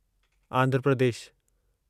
Andhra Pradesh